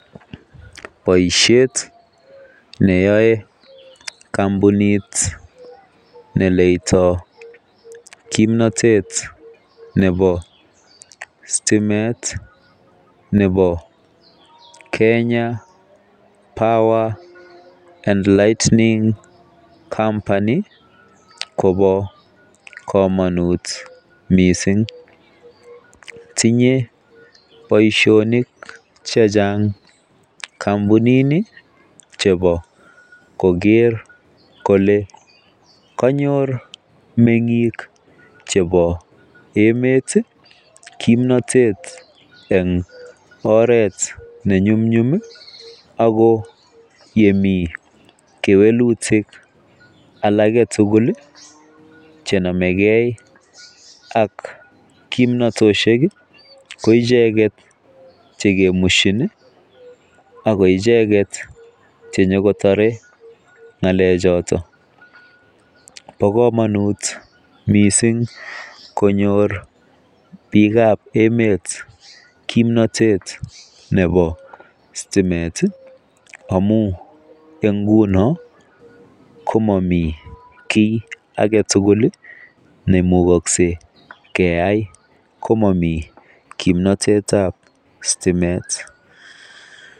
Boishet neyoe kompunit neletoo kimnotet nebo stimet nebo Kenya power and lightning company kobo komonut missing tinye boishonik chechang kompunit nii chebo koker kole konyor mengik chebo emet kimnotet en oret nenyumnyum ako yemii kewelutik alak agetutuk chenomegee ak kimnotoshek kii ko icheket chekemushin nii ako ichek chenyokotore ngalek choton. Bo komonut missing konyor bikab emet kimnotet nebo stimet tii amun ngunon komomii kii agetutuk lii nemukoksei keyai komomii kimnotetab stimet.